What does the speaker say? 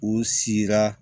U sira